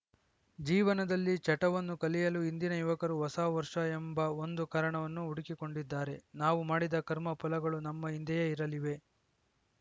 ಜೀವನದಲ್ಲಿ ಚಟವನ್ನು ಕಲಿಯಲು ಇಂದಿನ ಯುವಕರು ಹೊಸ ವರ್ಷ ಎಂಬ ಒಂದು ಕಾರಣವನ್ನು ಹುಡುಕಿಕೊಂಡಿದ್ದಾರೆ ನಾವು ಮಾಡಿದ ಕರ್ಮಫಲಗಳು ನಮ್ಮ ಹಿಂದೆಯೇ ಇರಲಿವೆ